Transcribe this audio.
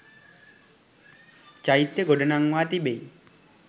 චෛත්‍ය ගොඩ නංවා තිබෙයි